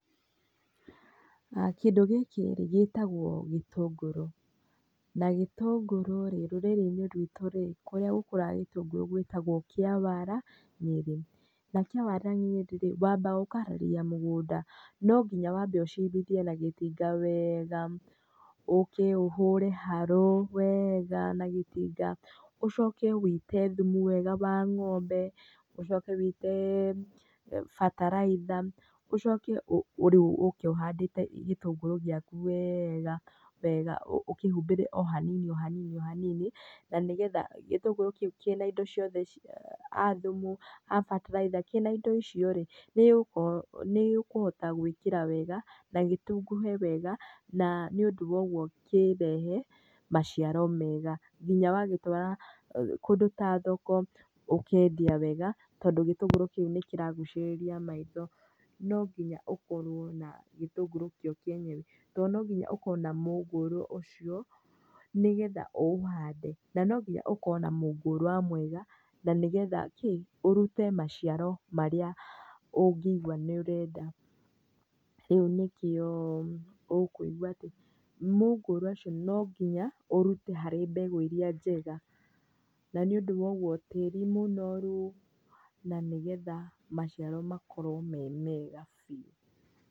Kĩndũ gĩkĩ rĩ gĩtagwo gĩtũngũrũ na gĩtũngũrũ rĩ rũrĩrĩ-inĩ rwitũ rĩ kũrĩa gũkũraga itũngũrũ gwĩtagwo Kĩawara, Nyeri. Na Kĩawara Nyeri rĩĩ wambaga ũkaharĩrĩria mũgũnda no nginya wambe ũcimbithie na gĩtinga wega, ũke ũhũre haro wega na gĩtinga, ũcoke ũite thumu wega wa ng'ombe, ũcoke ũite bataraitha, ũcoke ũke rĩu ũke ũhandĩte gĩtũngũrũ gĩaku wega wega ũkĩhumbĩre oo hanini hanini. Na nĩgetha gĩtũngũrũ kĩu kĩna indo ciothe a thumu a bataraitha, kĩna indo icio rĩ nĩ gĩkũhota gũĩkĩra wega na gĩtunguhe wega na nĩũndũ woguo kĩrehe maciaro mega nginya wagĩtwara kũndũ ta thoko ũkendia wega tondũ gĩtũngũrũ kĩu nĩ kĩragucĩrĩria andũ maitho. No nginya ũkorwo na gĩtũngũrũ kĩo kĩenyewe tondũ no nginya ũkorũo na mũngũrũ ũcio nĩgetha ũũhande na no nginya ũkorũo na mũngũrũ mwega nĩgetha kĩĩ ũrute maciaro marĩa ũngĩigua nĩ ũrenda. Rĩu nĩkĩo ũkũigwa atĩ mũngũrũ ũcio no nginya ũrute harĩ mbegũ irĩa njega. Na nĩũndũ woguo tĩĩri mũnoru na nĩgetha maciaro makorwo me mega biũ.